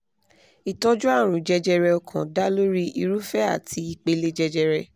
ìtọ́jú àrùn jẹjẹrẹ ọkàn dá lórí irúfẹ́ àti ìpele jẹjẹrẹ